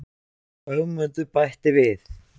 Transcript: Og Ögmundur bætti við: